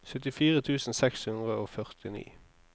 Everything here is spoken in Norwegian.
syttifire tusen seks hundre og førtini